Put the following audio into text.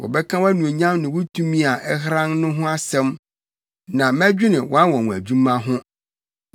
Wɔbɛka wʼanuonyam ne wo tumi a ɛheran no ho asɛm, na mɛdwene wʼanwonwadwuma ho.